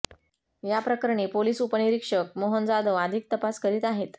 याप्रकरणी पोलीस उपनिरीक्षक मोहन जाधव अधिक तपास करीत आहेत